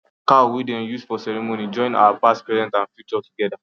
cow wey dem use for ceremony join our past present and future together